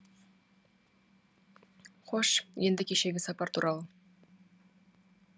қош енді кешегі сапар туралы